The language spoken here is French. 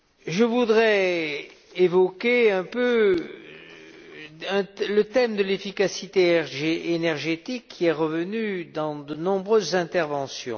Je voudrais évoquer un peu le thème de l'efficacité énergétique, qui est revenu dans de nombreuses interventions.